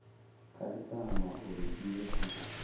khasitama uri i ye kha